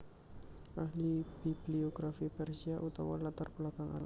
Ahli bibliografi Persia utawa latar belakang Arab